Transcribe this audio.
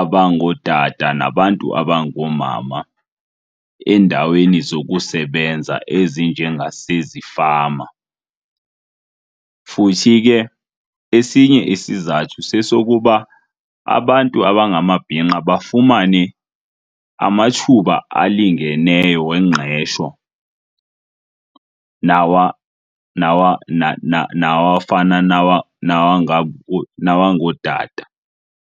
abangootata nabantu abangoomama eendaweni zokusebenza ezinjengasezifama. Futhi ke esinye isizathu sesokuba abantu abangamabhinqa bafumane amathuba alingeneyo wengqesho nawafana nawongootata.